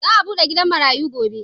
Za'a bude gidan marayu gobe.